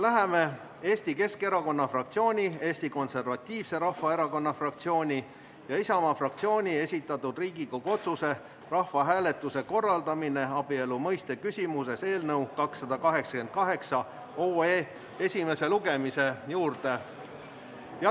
Läheme Eesti Keskerakonna fraktsiooni, Eesti Konservatiivse Rahvaerakonna fraktsiooni ja Isamaa fraktsiooni esitatud Riigikogu otsuse "Rahvahääletuse korraldamine abielu mõiste küsimuses" eelnõu 288 esimese lugemise juurde.